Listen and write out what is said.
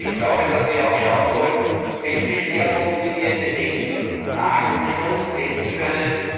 Ich glaube, dass wir auch schauen sollten, welche Schwerpunkte wir in den nächsten Tagen und Stunden setzen können.